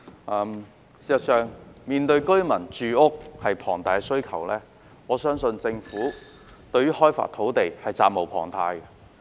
事實上，面對龐大的住屋需求，我相信政府對開發土地是責無旁貸的。